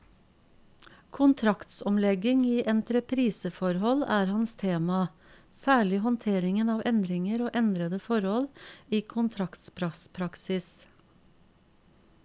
Kontraktsomlegging i entrepriseforhold er hans tema, særlig håndteringen av endringer og endrede forhold i kontraktspraksis.